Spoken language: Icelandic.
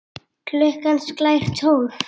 Klukkan slær tólf.